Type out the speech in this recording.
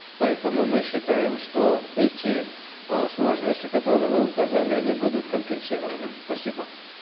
поэтому мы считаем что эти э сложности которые вы указали они будут компенсированы спасибо